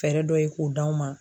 dɔ ye k'o d'anw ma.